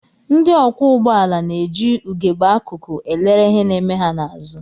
Ndị ọkwọụgbọala na-eji ugegbe akụkụ elere ihe na-eme ha n'azụ